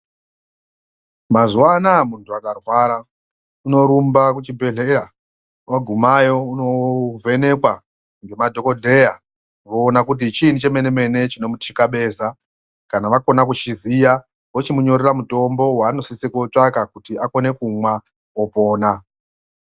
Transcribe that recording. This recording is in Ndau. Mazuwa anaya munhu akarwara unorumba kuchibhehleya woguma yo unovhenekwa ngemadhokodheya voona kuti chiinyi chemenemene chinomutikabeza kana vakona kuchiziya vochimunyorera muutombo wanosisa kootsvaka kuti akone kumwa opona.